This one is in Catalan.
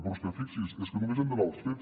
però és que fixi’s és que només hem d’anar als fets